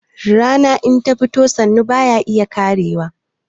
Rana in ta fito hannu baya iya karewa